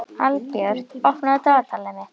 Albjört, opnaðu dagatalið mitt.